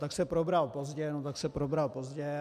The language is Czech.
Tak se probral pozdě, no tak se probral pozdě.